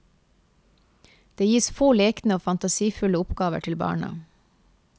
Det gis få lekne og fantasifulle oppgaver til barna.